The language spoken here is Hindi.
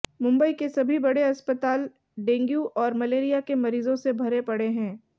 मुंबई के सभी बड़े अस्पताल डेग्यू और मलेरिया के मरीजों से भरे पड़े हैं